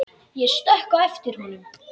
Ég stökk á eftir honum.